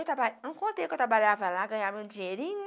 Eu traba, eu não contei que eu trabalhava lá, ganhava um dinheirinho,